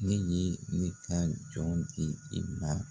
Ne ye ne ka jɔn di i ma.